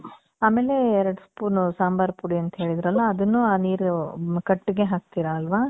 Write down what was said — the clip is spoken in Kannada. ಆಮೇಲೇ ಎರಡ್ spoon ಸಾಂಬಾರ್ ಪುಡಿ ಅಂತ್ ಹೇಳಿದ್ರಲ್ಲ, ಅದುನ್ನೂ ಆ ನೀರು, ಕಟ್ಟಿಗೆ ಹಾಕ್ತೀರ ಅಲ್ವ?